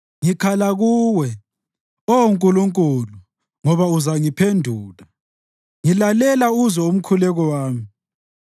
Ngikhala kuwe, Oh Nkulunkulu ngoba uzangiphendula; ngilalela uzwe umkhuleko wami.